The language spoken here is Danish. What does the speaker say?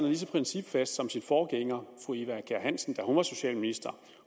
lige så principfast som sin forgænger fru eva kjer hansen da hun var socialminister